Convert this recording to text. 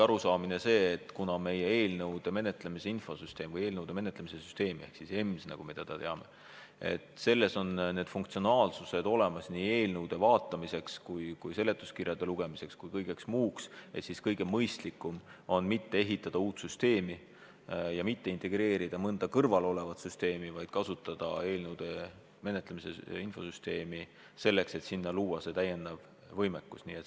Arusaam oli aga see, et kuna meie eelnõude menetlemise süsteemis ehk siis EMS-is, nagu me teda teame, on vajalikud funktsionaalsused olemas nii eelnõude vaatamiseks kui ka seletuskirjade lugemiseks kui ka kõigeks muuks, siis kõige mõistlikum on mitte ehitada uut süsteemi ja mitte integreerida mõnda kõrvalolevat süsteemi, vaid kasutada eelnõude menetlemise süsteemi selleks, et sinna luua see täiendav võimekus.